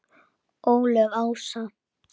Ólöf Ása.